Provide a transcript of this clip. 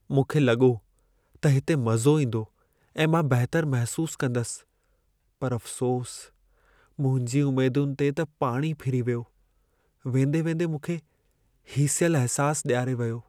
मूंखे लॻो त हिते मज़ो ईंदो ऐं मां बहितर महसूसु कंदसि, पर अफ़सोसु मुंहिंजी उमेदुनि ते पाणी फिरी वियो, वेंदे-वेंदे मूंखे हीसियलु अहिसासु ॾियारे वियो।